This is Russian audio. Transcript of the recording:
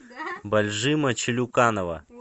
бальжима челюканова